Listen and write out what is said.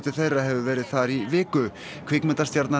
þeirra hefur verið þar í viku